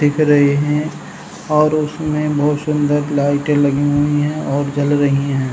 दिख रही हैं और उसमें बहोत सुंदर लाइटें लगी हुई हैं और जल रही हैं।